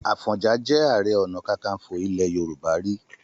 Àfọ̀njá jẹ Ààrẹ Ọ̀nà Kakaǹfò ilẹ̀ Yorùbá rí.